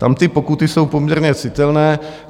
Tam ty pokuty jsou poměrně citelné.